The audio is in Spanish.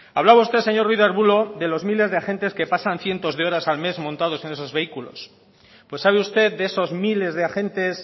hablaba usted señor ruiz de arbulo de los miles de agentes que pasan cientos de horas al mes montados en esos vehículos pues sabe usted de esos miles de agentes